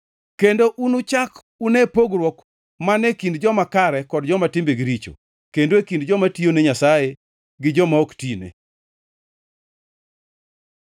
Kendo unuchak une pogruok mane kind joma kare kod joma timbegi richo, kendo e kind joma tiyone Nyasaye gi joma ok tine.”